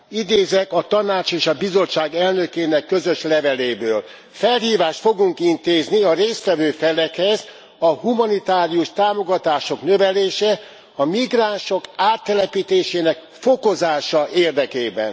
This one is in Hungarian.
Idézek a Tanács és a Bizottság elnökének közös leveléből felhívást fogunk intézni a részt vevő felekhez a humanitárius támogatások növelése, a migránsok áttelepítésének fokozása érdekében.